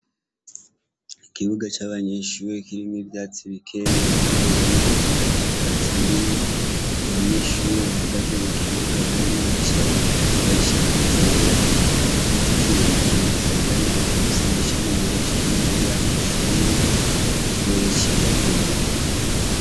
Ikibuga c'abanyeshure kirimwo ivyatsi bikeyi uruhande rumwe urundi ata vyatsi birimwo; abanyeshure bahagaze mu kibuga abandi bicaye bambaye ishati zera. Igiti kirekire gisaganaye gifise amashami menshi kiri impande y'amashure; ikirere cera derere.